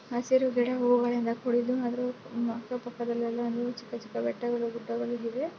ಹಸಿರು ಗಿಡ ಹೂವುಗಳಿಂದ ಕೂಡಿದ್ದೂ ಅದರ ಅಕ್ಕ ಪಕ್ಕದಲೆಲ್ಲ ಚಿಕ್ಕ ಚಿಕ್ಕ ಬೆಟ್ಟಗಳು ಗುಡ್ಡಗಳು ಇವೆ.